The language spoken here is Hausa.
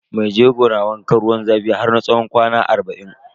Maijego na wankan ruwan zafi har na tsawon kwana arba'in.